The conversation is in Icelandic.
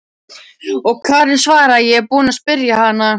Og Karen svaraði: Ég er búin að spyrja hana.